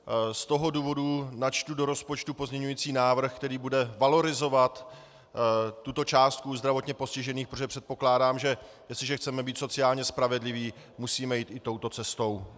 Z toho důvodu načtu do rozpočtu pozměňovací návrh, který bude valorizovat tuto částku zdravotně postižených, protože předpokládám, že jestliže chceme být sociálně spravedliví, musíme jít i touto cestou.